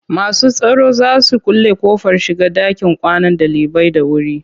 Masu tsaron za su kulle ƙofar shiga ɗakin kwanan ɗalibai da wuri.